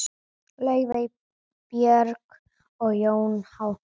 Laufey, Björg og Jón Hákon.